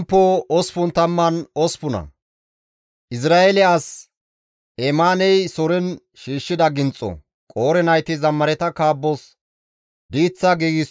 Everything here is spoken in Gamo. Abeet GODAWU! tana ashshiza Xoossawu! Tani gallassinne omars ne sinththan yeekkays.